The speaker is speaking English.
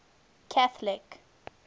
catholic